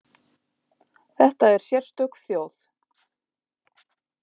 Þetta er sérstök þjóð.